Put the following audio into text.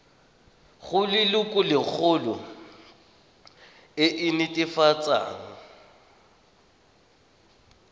go lelokolegolo e e netefatsang